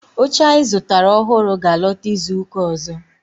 Oche anyi zutara ohuru ga alota izuka ozo